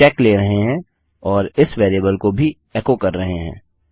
हम चेक ले रहे हैं और इस वेरिएबल को भी एको कर रहे हैं